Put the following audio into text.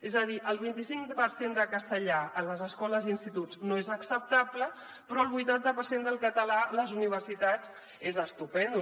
és a dir el vint i cinc per cent de castellà a les escoles i instituts no és acceptable però el vuitanta per cent del català a les universitats és estupendo